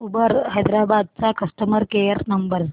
Uber Hyderabad चा customer care number